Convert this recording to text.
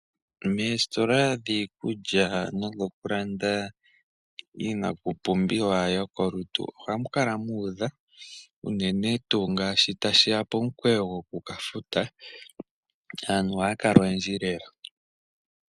Meesitola dhiikulya nodhoku landa iipumbiwa yolutu ohamu kala mu udha unene tuu ngele tashi ya pomukalo goku ka futa, aantu ohaya kala oyendji lela.